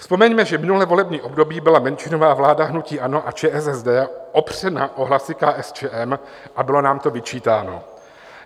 Vzpomeňme, že minulé volební období byla menšinová vláda hnutí ANO a ČSSD opřena o hlasy KSČM a bylo nám to vyčítáno.